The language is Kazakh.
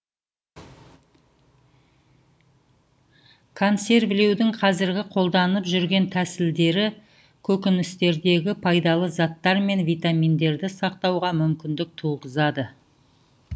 консервілеудің қазіргі қолданып жүрген тәсілдері көкөністердегі пайдалы заттар мен витаминдерді сақтауға мүмкіндік туғызады